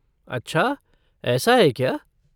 अच्छा ऐसा है क्या?